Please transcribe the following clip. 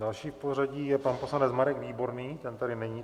Další v pořadí je pan poslanec Marek Výborný, ten tady není.